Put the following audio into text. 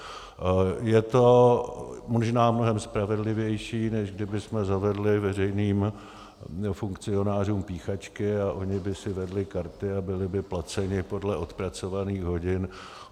Je to možná mnohem spravedlivější, než kdybychom zavedli veřejným funkcionářům píchačky a oni by si vedli karty a byli by placeni podle odpracovaných hodin.